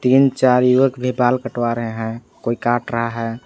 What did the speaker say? तीन चार युवक ने बाल कटवा रहे हैं कोई काट रहा है।